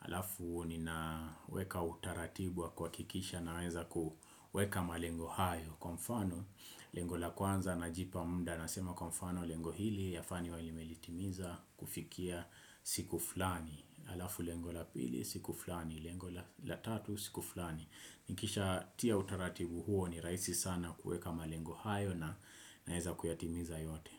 Alafu nina weka utaratibu wa kuhakikisha naweza kuweka malengo hayo. Kwa mfano lengo la kwanza najipa muda nasema kwa mfano lengo hili yafaa niwe nimelitimiza kufikia siku fulani. Alafu lengo la pili siku fulani lengo la tatu siku fulani. Nikisha tia utaratibu huo ni rahisi sana kuweka malengo hayo na naweza kuyatimiza yote.